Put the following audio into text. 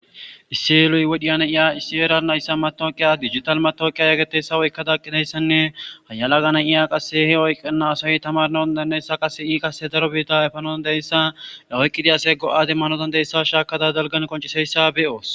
Issiyeluy wodhiyan iya issi'era nayssa matooqiya digital matoqiya yagggeteysa oykkadaqqidayssanne hayala gana iya qase he oyqqana asayi tamarnaondanayssa qase ii qase daro biita efanoandeyssa la oyqqidiyasey go7adem manodan deyssa shaakada dalgan qonciseyssa be'oos.